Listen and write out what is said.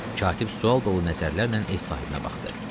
Katib sual dolu nəzərlərlə ev sahibinə baxdı.